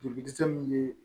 Joli dɛsɛ min bɛ